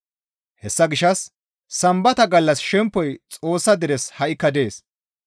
Hessa gishshas Sambata gallas shempoy Xoossa deres ha7ikka dees.